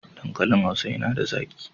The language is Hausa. Dankalin Hausa yana da zaƙi.